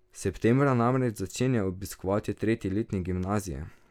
Septembra namreč začenja obiskovati tretji letnik gimnazije.